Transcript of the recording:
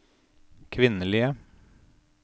kvinnelige